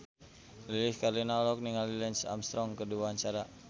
Lilis Karlina olohok ningali Lance Armstrong keur diwawancara